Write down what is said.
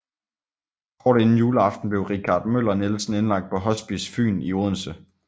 Kort inden juleaften blev Richard Møller Nielsen indlagt på Hospice Fyn i Odense